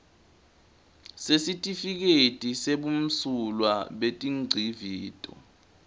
sesitifiketi sebumsulwa betingcivito